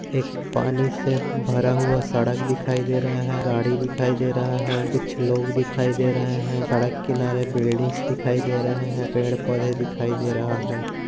एक पानी से भरा हुआ सड़क दिखाई से रहा हैं गाड़ी दिखाई दे रहा हैं कुछ लोग दिखाई दे रहा है सड़क किनारे बिल्डिंग्स दिखाई दे रहे है पेड़ पौधें दिखाई दे रहा है।